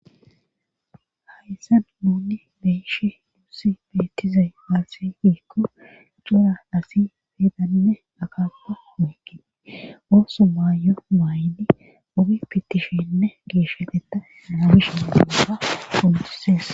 Hayssa nuni beeshe duussi beettizay haasafikko cura asi feedanne akanta meeke ooso maayo maaydi ubipitishenne giishateta naamishi afa koltises.